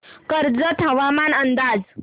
कर्जत हवामान अंदाज